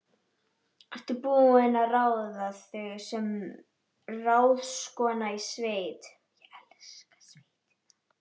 Ertu búin að ráða þig sem ráðskonu í sveit?